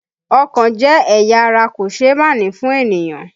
Ọkàn jẹ́ ẹ̀yà ara kòṣeémánìí fún ènìyàn